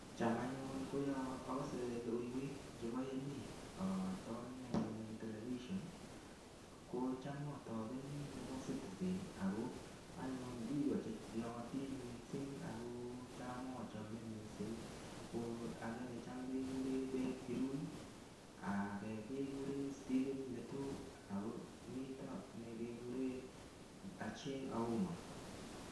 Cham anyun ko yo agase logoiwek chebo emet atoni anyun telvision, kocham atopeni nebo Citizen ago biik che naatin mising ago cham achome mising ko age ne cham keguren Ben Kirui age keguren Stephen Letoo ago mito ne keguren Achieng Auma.